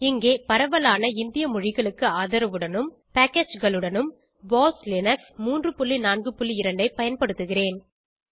இங்கே பரவலான இந்திய மொழிகளுக்கு ஆதரவுடனும் packageகளுடனும் போஸ் லினக்ஸ் 342 ஐ பயன்படுத்துகிறேன்